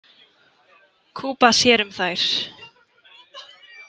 Kuba sér um þær.